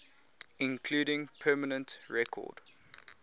including permanent record